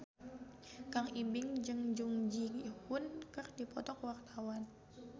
Kang Ibing jeung Jung Ji Hoon keur dipoto ku wartawan